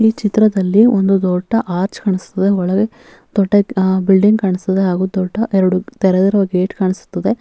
ಈ ಚಿತ್ರದಲ್ಲಿ ಒಂದು ದೊಡ್ಡ ಆಚ್ ಕಾಣಿಸ್ತಿದೆ ಒಳಗೆ ದೊಡ್ಡ ಬಿಲ್ಡಿಂಗ್ ಕಾಣಿಸುತ್ತಿದೆ ಹಾಗು ದೊಡ್ಡ ಎರಡು ತೆರೆದಿರುವ ಗೇಟ್ ಕಾಣಿಸುತ್ತಿದೆ.